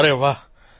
અરે વાહ